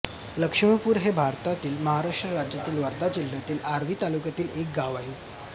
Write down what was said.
लक्ष्मीपूर हे भारतातील महाराष्ट्र राज्यातील वर्धा जिल्ह्यातील आर्वी तालुक्यातील एक गाव आहे